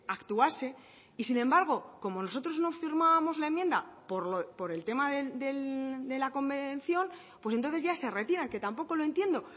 actuase y sin embargo como nosotros no firmábamos la enmienda por el tema de la convención pues entonces ya se retiran que tampoco lo entiendo